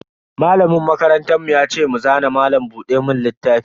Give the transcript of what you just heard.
Malamin makarantar mu ya ce mu zana malam buɗe mun littafi.